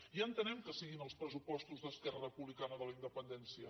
ja entenem que siguin els pressupostos d’esquerra republicana de la independència